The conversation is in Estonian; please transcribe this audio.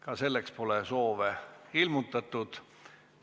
Ka selleks pole soovi ilmutatud.